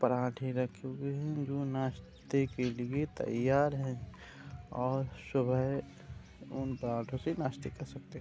पराठे रखे हुए हैं जो नाश्ते के लिए तैयार हैं और शुबह उन पराठों से नाश्ते कर सकते हैं।